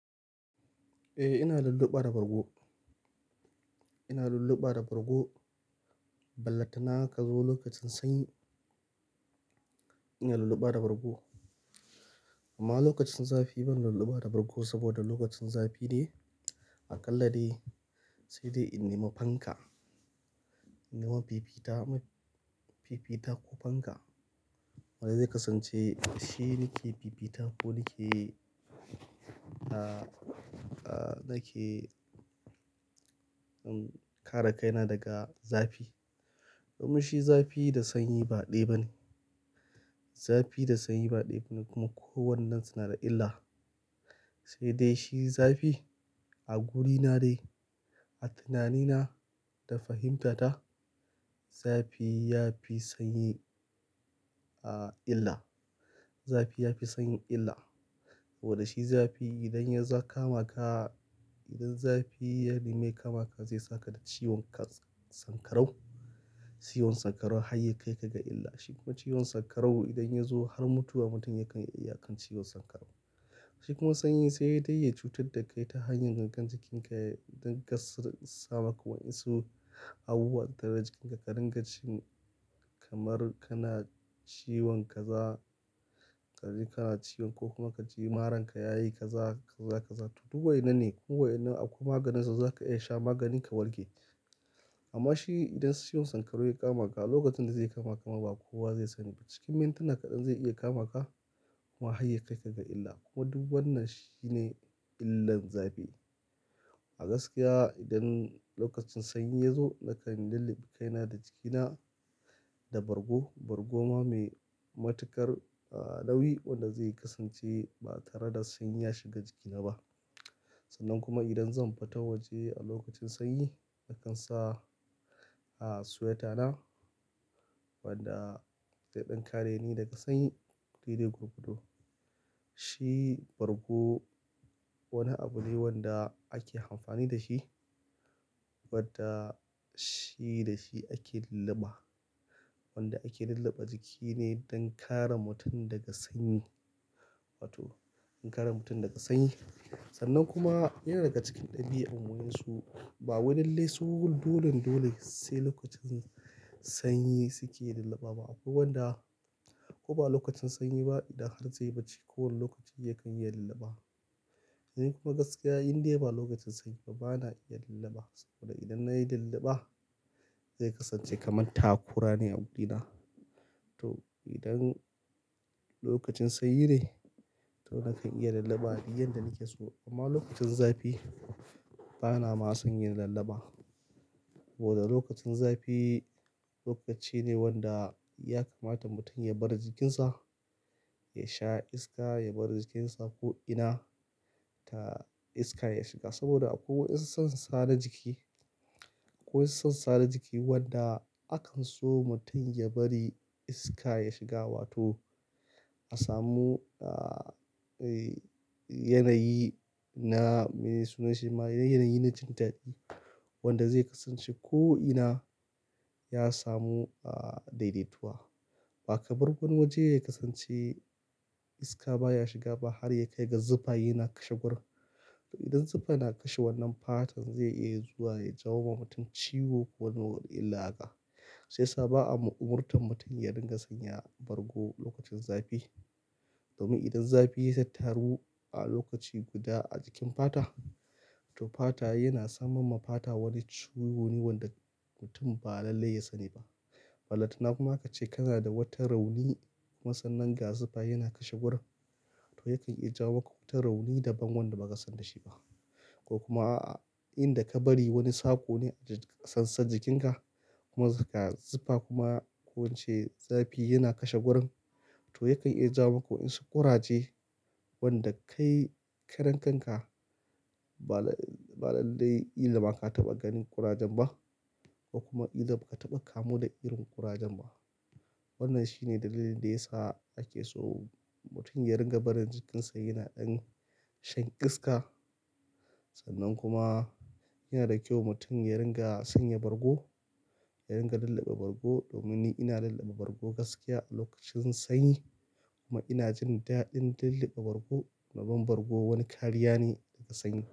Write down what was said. Eh ina lulluɓa da bargo. Ina lulluɓa da bargo, ballanta na ka zo lokacin sanyi ina lulluɓa da bargo. Amma lokacin zafi ban lulluɓa da bargo saboda lokacin zafi dai aƙalla dai sai dai in nema fanka, in nema fifita, fifita ko fanka. Wanda zai kasance shi nake fifita ko nake, ah, ah nake, um, kare kaina daga zafi. Domin shi zafi da sanyi ba ɗaya ba ne. Zafi da sanyi ba ɗaya ba ne kuma kowannan su nada illa. Sai dai shi zafi a gurina dai, a tunanina da fahimtata zafi ya fi sanyi, ah, illa. Zafi ya fi sanyi illa. Saboda shi zafi idan ya za kama ka, idan zafi ya nemi ya ka maka zai saka da ciwon kats-- sanƙarau. Ciwon sanƙarau hayyakai ka ga illa shi. Kuma ciwon sanƙarau idan ya zo har mutuwa mutum yakan, yakan ciwon sanƙarau. Shi kuma sanyi sai dai ya cutar da kai ta hanyar gangan jikinka don ga s-- sama ka wa insu abubuwa dagajikin ka dinga jin kamar kana ciwon kaza. Kazi kace ko kuma kaji marar ka yayi kaza kaza to duk waina ne. Duk waina akwai maganin sa, za ka iya sha magani ka warke. Amma shi idan ciwon sankarau ya kama ka lokacin da zai kama ka ma ba kowa zai sani ba. Cikin mintuna kaɗan zai iya kama ka kuma hayyakai ka ga illa. Kuma duk wannan shine illan zafi. A gaskiya idan lokacin sanyi ya zo nakan lulluɓe kaina da jikina da bargo. Bargo ma mai matuƙar, ah, nauyi wanda zai kasance ba tare da sanyi ya shiga jikina ba. Sannan kuma idan zan fita waje a lokacin sanyi nakan sa, ah, suweta na ciwon sanƙarau hayyakai ka ga illa shi. Guri dai gurgudu. Shi bargo wani abu ne wanda ake amfani da shi, wadda shi da shi ake lulluba. Wanda ake lulluɓe jiki ne don kare mutum daga sanyi. Wato don kare mutum daga sanyi. Sannan kuma yana daga cikin ɗabi'an mu yanzu ba wai lallai su dolon dole sai lokacin sanyi suke lulluba ba. Akwai wanda ko ba lokacin sanyi ba idan har zai baci kowane lokaci yakan iya lulluba. Nikuma gaskiya indai ba lokacin sanyi ba bana iya lulluba amma lokacin zafi bana ma son yin lulluba. Saboda lokacin zafi lokaci ne wanda ya kamata mutum ya bari jikinsa ya sa iska, ya bari jikinsa ko ina ta iska ya shiga. Saboda akwai wasu sassa na jiki, akwai wasu sassa na jiki wanda akan so mutum ya bari iska ya shiga wato a samu, ah, eh, yanayi na me suna shi ma yanayi na jin daɗi. Wanda zai kasance ko ina ya somu, ah, daidaituwa. Baka bar wani waje ya kasance iska baya shiga ba har ya kai ga zufa yana kai guran. To idan zafi yana kashe wannan fatan zai iya zuwa ya jawo wa mutum ciwo ko wani wani illa haka. Shiyasa sa ba a ma umurtan mutum ya ringa sanya bargo lokacin zafi. Domin idan zafi ya tattaru a lokaci guda a jikin fata, to fata yana saman ma fata wani ciwo wani wanda mutum ba lallai ya sani ba. Ballanta na kuma aka ce kana da wata rauni kuma sannan ga zufa yana kashe gurin. To yakan iya jawo maku wata rauni daban wanda ba ka san da shi ba. Ko kuma aa inda ka bari wani sako ne a sansan jikinka kuma ka zufa kuma ko ince zafi yana kashe gurin to yakan iya jawo maku wasu kuraje wanda kai karen kanka ba la-- ba lallai kila ma ka taɓa ganin kurajen ba. Ko kuma illa ba ka taɓa kamu da irin kurajen ba. Wannan shine dalilin da ya sa ake so mutum ya ringa barin jikinsa yana ɗan san iska. Sannan kuma yana da kyau mutum ya dinga sanya bargo ya dinga lulluba bargo domin ni ina lulluba bargo gaskiya a lokacin sanyi kuma ina jin daɗin lulluɓe bargo. Domin bargo wani kariya ne daga sanyi.